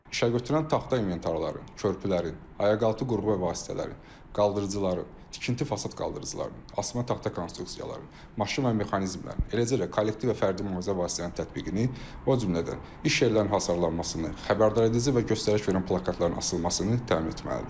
İşəgötürən taxta inventarların, körpülərin, ayaqaltı qurğu və vasitələrin, qaldırıcıların, tikinti fasad qaldırıcıların, asma konstruksiyaların, maşın və mexanizmlərin, eləcə də kollektiv və fərdi mühafizə vasitələrinin tətbiqini, o cümlədən iş yerlərinin hasarlanmasını, xəbərdaredici və göstəriş verən plakatların asılmasını təmin etməlidir.